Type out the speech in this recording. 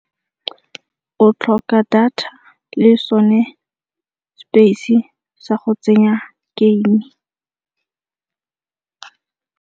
O tlhoka data le so ne space sa go tsenya game.